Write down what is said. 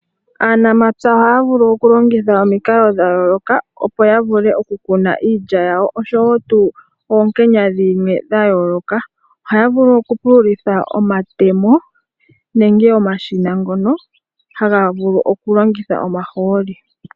Aanamapya ohaya vulu okulongitha omikalo dha yooloka opo ya vule okukuna iilya yawo osho wo oonkenya dhimwe dha yooloka ohaya vulu okupululitha omatemo nenge omashina ngoka ha ga vulu okulongitha omahooli.